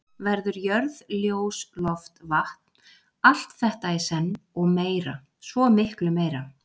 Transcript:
Verður jörð ljós loft vatn, allt þetta í senn, og meira, svo miklu meira.